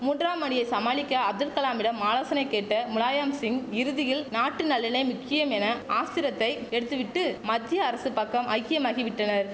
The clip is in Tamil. மூன்றாம் அணியை சமாளிக்க அப்துல்கலாமிடம் ஆலோசனை கேட்ட முலாயம்சிங் இறுதியில் நாட்டு நலனே முக்கியம் என ஆஸ்திரத்தை எடுத்து விட்டு மத்திய அரசு பக்கம் ஐக்கியமாகி விட்டனர்